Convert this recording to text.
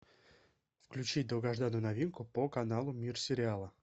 включи долгожданную новинку по каналу мир сериала